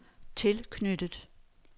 tilknyttet